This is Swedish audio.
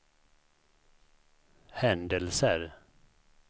händelser